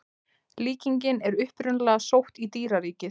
Líkingin er upprunalega sótt í dýraríkið.